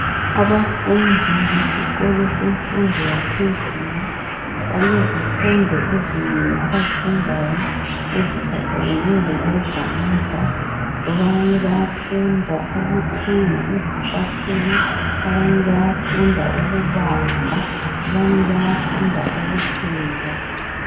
Abafundi besikolo yemfundo yaphezulu, balezifundo ezinengi abazifundayo eziphathelane lokwezandla. Abanye bayafunda ukuthunga izicathulo, abanye bayafunda ukubaza, abanye bayafunda ukupheka.